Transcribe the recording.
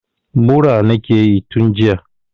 Mura nakeyi tun jiya